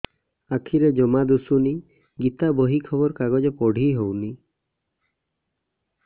ଆଖିରେ ଜମା ଦୁଶୁନି ଗୀତା ବହି ଖବର କାଗଜ ପଢି ହଉନି